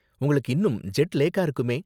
உங்களுக்கு இன்னும் ஜெட் லேக்கா இருக்குமே.